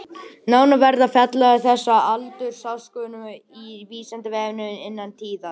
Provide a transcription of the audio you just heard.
Nánar verður fjallað um þessa aldursákvörðun á Vísindavefnum innan tíðar.